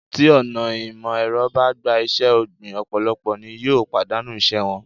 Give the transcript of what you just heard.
Tí ọ̀nà ìmò èrọ bá gba iṣé ọ̀gbìn, ọ̀pọ̀lọpọ̀ ni yóò pàdánù ìṣe wọn.